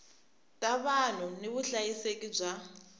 ta vanhu ni vuhlayiseki bya